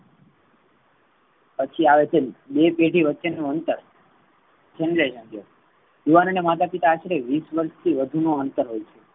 પછી આવે છે. બે પેઢી વચ્ચે નો અંતર યુવાનો ના માતા પિતા આશરે વિસ વર્ષ થી વધુ નો અંતર હોઈ છે.